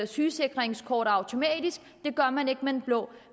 sygesikringskort automatisk det gør man ikke med det blå